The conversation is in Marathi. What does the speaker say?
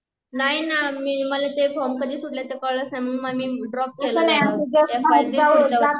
नाही ना मला ते फॉर्म कधी सुटले ते कळलेच नाही मग मी ड्रॉप केला